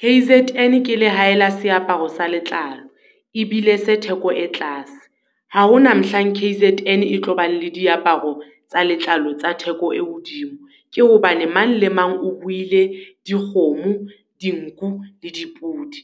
K_Z_N ke la hae la seaparo sa letlalo, e bile se theko e tlase. Ha ho na mohlang K_Z_N e tlo bang le diaparo tsa letlalo tsa theko e hodimo. Ke hobane mang le mang o ruile dikgomo, dinku le dipudi.